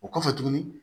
O kɔfɛ tuguni